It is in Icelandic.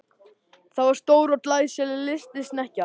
Það var stór og glæsileg lystisnekkja.